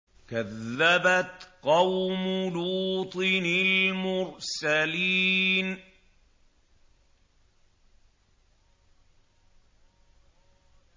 كَذَّبَتْ قَوْمُ لُوطٍ الْمُرْسَلِينَ